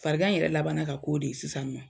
Farigan in yɛrɛ laban ka ko de sisan nɔ